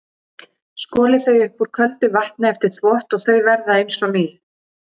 Skolið þau upp úr köldu vatni eftir þvott og þau verða eins og ný.